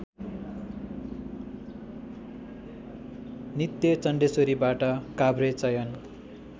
नित्यचण्डेश्वरीबाट काभ्रे चयन